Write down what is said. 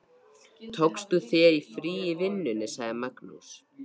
Magnús: Tókst þú þér frí í vinnunni?